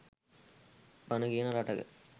බණ කියන රටක